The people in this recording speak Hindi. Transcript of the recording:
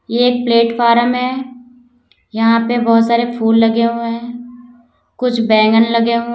ये एक प्लेटफार्म है यहां पे बहोत सारे फूल लगे हुए हैं कुछ बैंगन लगे हुए--